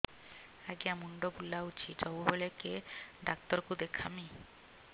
ଆଜ୍ଞା ମୁଣ୍ଡ ବୁଲାଉଛି ସବୁବେଳେ କେ ଡାକ୍ତର କୁ ଦେଖାମି